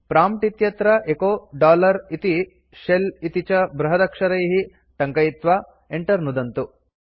prompt इत्यत्र echo इति shell इति च बृहदक्षरैः टङ्कयित्वा enter नुदन्तु